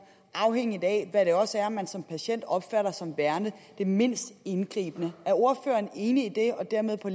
afhængigt af hvad det også er man som patient opfatter som værende det mindst indgribende er ordføreren enig i det og dermed på